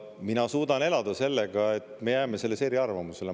Mina suudan elada sellega, et me jääme selles eriarvamusele.